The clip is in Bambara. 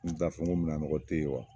N taa fɔ ko mina nɔgɔ tɛ ye wa